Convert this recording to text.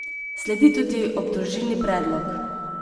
Sledi tudi obdolžilni predlog.